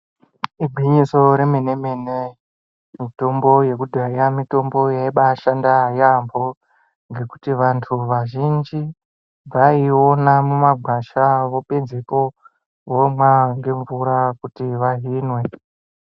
Igwinyiso remene mene mitombo yekudhaya mitombo yaibashanda yambo ngekuti vantu vazhinji vaiona mumagwasha avo pedzepo vomwa ngemvura kuti vahinwe.